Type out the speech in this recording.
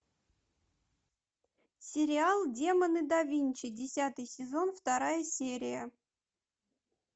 сериал демоны да винчи десятый сезон вторая серия